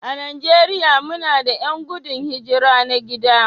A Najeriya muna da 'yan gudun hijira na gida